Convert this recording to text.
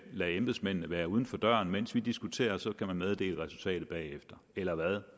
lade embedsmændene være uden for døren mens vi diskuterer og så kan man meddele resultatet bagefter eller hvad